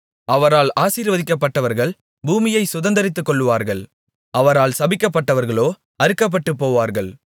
அவரால் ஆசீர்வதிக்கப்பட்டவர்கள் பூமியைச் சுதந்தரித்துக்கொள்ளுவார்கள் அவரால் சபிக்கப்பட்டவர்களோ அறுக்கப்பட்டுபோவார்கள்